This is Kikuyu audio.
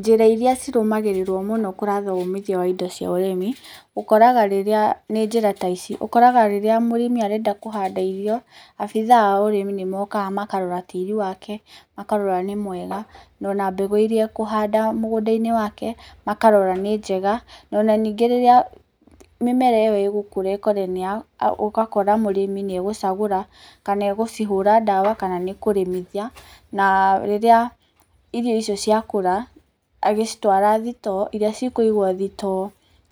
Njĩra iria cirũmagĩrĩrwo mũno kũratha uumithio wa indo cia ũrĩmi, ũkoraga rĩrĩa nĩ njĩra ta ici ũkoraga rĩrĩa mũrĩmi arenda kũhanda irio abiitha a ũrĩmi nĩ mokaga makarora tĩĩri wake, makarora nĩ mwega na ona mbegũ iria akũhanda mũgũnda-inĩ wake makarora nĩ njega, na ona ningĩ rĩrĩa mĩmera ĩyo ĩgũkũra ũgakora mũrĩmi nĩ egũcagũra kana agũcihũra dawa kana nĩ kũrĩmithia na rĩrĩa irio icio cĩakũra agacitwara thitoo iria cikũigwo thitoo